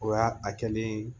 O ya a kɛlen